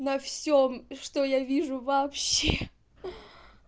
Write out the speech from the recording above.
на всём что я вижу вообще